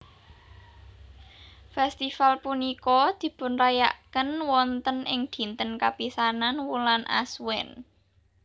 Fèstival punika dipunrayakaken wonten ing dinten kapisanan wulan Ashwin